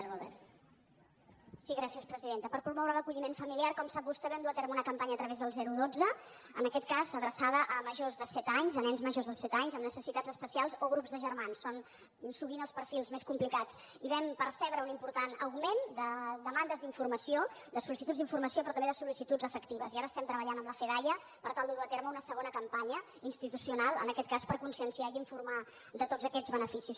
per promoure l’acolliment familiar com sap vostè vam dur a terme una campanya a través del dotze en aquest cas adreçada a majors de set anys a nens majors de set anys amb necessitats especials o grups de germans són sovint els perfils més complicats i vam percebre un important augment de demandes d’informació de sol·licituds d’informació però també de sol·llant amb la fedaia per tal de dur a terme una segona campanya institucional en aquest cas per conscienciar i informar de tots aquests beneficis